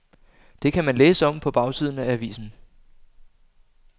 Det kan man læse om på bagsiden af avisen.